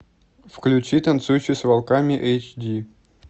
включи танцующий с волками эйч ди